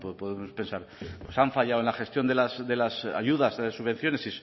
podemos pensar pues han fallado en la gestión de las ayudas de las subvenciones